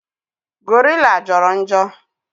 Gorilla Joro njo